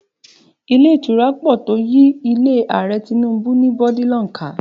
Ilé ìtura pọ̀ tó yí ilé Ààrẹ Tinubu ní bọ́dílọ̀n ká